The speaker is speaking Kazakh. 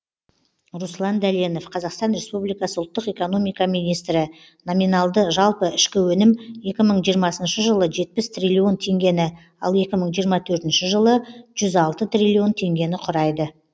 руслан дәленов қазақстан республикасы ұлттық экономика министрі номиналды жалпы ішкі өнім екі мың жиырмасыншы жылы жетпіс триллион теңгені ал екі мың жиырма төртінші жылы жүз алты триллион теңгені құрайды